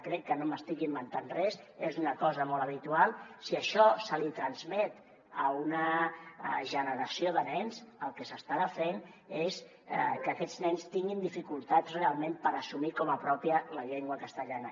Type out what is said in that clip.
crec que no m’estic inventant res és una cosa molt habitual si això se li transmet a una generació de nens el que s’estarà fent és que aquests nens tinguin dificultats realment per assumir com a pròpia la llengua castellana